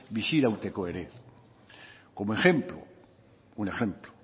bizirauteko ere como ejemplo un ejemplo